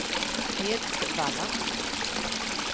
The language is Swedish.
Edsvalla